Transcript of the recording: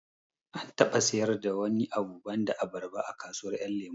An taɓa sayar da wani abu banda abarba a kasuwar ƴan lemo